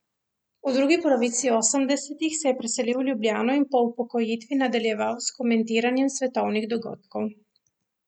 V drugi polovici osemdesetih se je preselil v Ljubljano in po upokojitvi nadaljeval s komentiranjem svetovnih dogodkov.